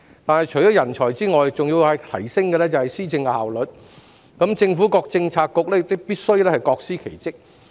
但除了人才外，還要提升施政效率，政府各政策局亦必須各司其職。